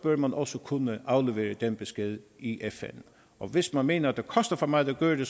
man også kunne aflevere den besked i fn og hvis man mener at det koster for meget at gøre det